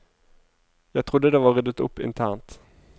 Jeg trodde det var ryddet opp internt.